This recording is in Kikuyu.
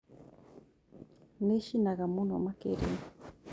Nĩcinaga mũno makĩria